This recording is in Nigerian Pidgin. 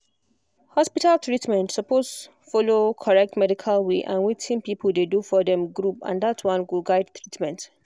hospital treatment suppose follow correct medical way and wetin people dey do for dem group and that one go guide treatment